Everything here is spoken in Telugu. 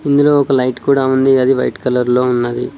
ఇందులో ఒక లైట్ కూడా ఉంది అది వైట్ కలర్ లో ఉన్నది.